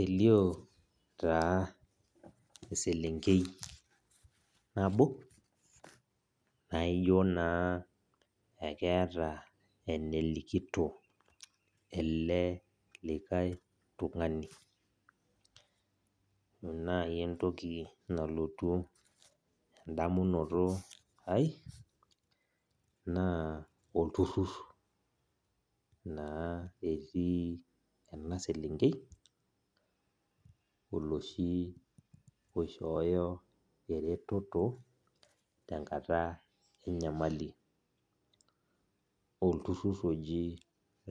Elio taa eselenkei nabo, naijo naa ekeeta enelikito ele likae tung'ani. Ore nai entoki nalotu edamunoto ai, naa olturrur naa etii ena selenkei, oloshi oishooyo ereteto, tenkata enyamali. Olturrur oji